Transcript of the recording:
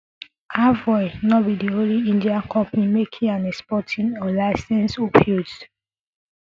aveo no be di only indian company making and exporting unlicensed opioids